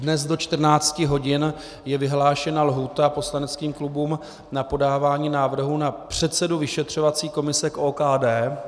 Dnes do 14 hodin je vyhlášena lhůta poslaneckým klubům na podávání návrhů na předsedu vyšetřovací komise k OKD.